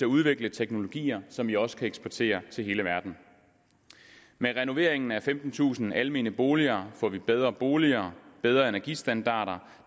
udvikle teknologier som vi også kan eksportere til hele verden med renoveringen af femtentusind almene boliger får vi bedre boliger og bedre energistandarder